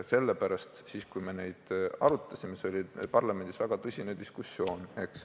Sellepärast oli siis, kui me neid arutasime, parlamendis väga tõsine diskussioon.